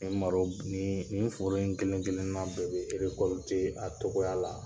Nin malo b nii nin foro in kelen kelenna bɛɛ be a togoya la.